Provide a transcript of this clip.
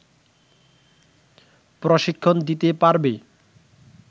প্রশিক্ষণ দিতে পারবে